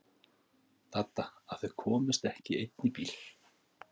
Dadda að þau komust ekki í einn bíl.